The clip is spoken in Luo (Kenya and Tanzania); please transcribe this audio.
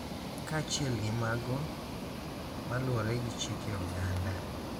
Kaachiel gi mago maluwore gi chike oganda.